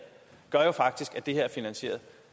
gør jo faktisk at det er finansieret